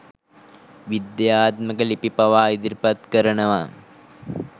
විද්‍යාත්මක ලිපි පවා ඉදිරිපත් කරනවා.